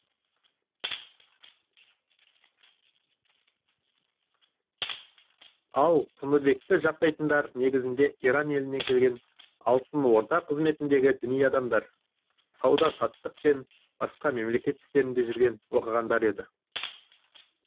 ал тыныбекті жақтайтындар негізінде иран елінен келген алтын орда қызметіндегі діни адамдар сауда саттық пен басқа мемлекет істерінде жүрген оқығандар еді